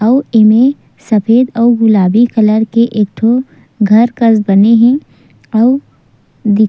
आउ एमे सफ़ेद और गुलाबी कलर के एक ठो घर कस बनी हे आउ--